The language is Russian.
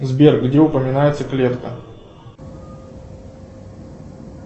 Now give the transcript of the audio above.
сбер где упоминается клетка